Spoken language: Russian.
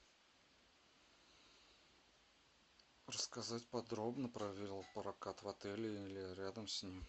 рассказать подробно про велопрокат в отеле или рядом с ним